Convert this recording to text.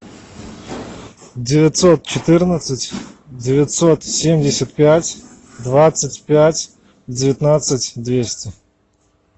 девятьсот четырнадцать девятьсот семьдесят пять двадцать пять девятнадцать двести